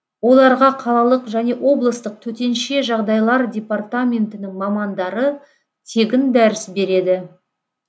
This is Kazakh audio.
оларға қалалық және облыстық төтенше жағдайлар департаментінің мамандары тегін дәріс береді